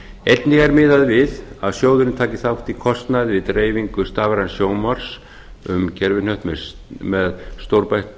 einnig er miðað við að sjóðurinn taki þátt í kostnaði við dreifingu stafræns sjónvarps um gervihnött með stórbætta